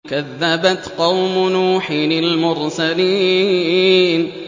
كَذَّبَتْ قَوْمُ نُوحٍ الْمُرْسَلِينَ